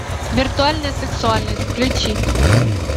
виртуальная сексуальность включи